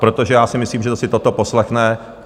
Protože já si myslím, že kdo si toto poslechne...